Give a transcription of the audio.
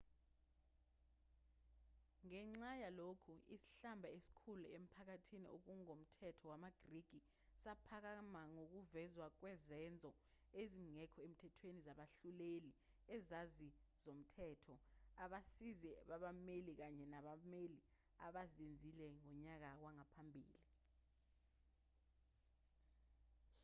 ngenxa yalokhu isihlamba esikhulu emphakathini ongokomthetho wamagriki saphakama ngokuvezwa kwezenzo ezingekho emthethweni zabahluleli izazi zomthetho abasizi babameli kanye nabameli abazenzile ngonyaka wangaphambili